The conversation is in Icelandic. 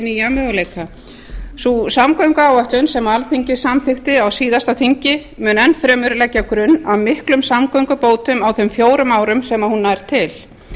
nýja möguleika sú samgönguáætlun sem alþingi samþykkti á síðasta þingi mun enn fremur leggja grunn að miklum samgöngubótum á þeim fjórum árum sem hún nær til